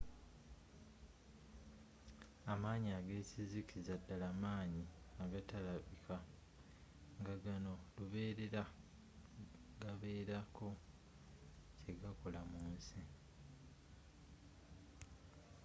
amaanyi agekizikiza ddala maanyi agatalabika ngagano lubeerera gabeerako kyegakola mu nsi